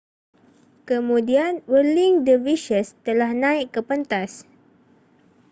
kemudian whirling dervishes telah naik ke pentas